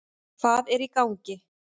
Hvað er í gangi?